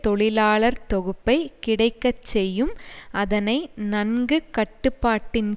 தொழிலாளர் தொகுப்பை கிடைக்க செய்யும் அதனை நன்கு கட்டுப்பாட்டின்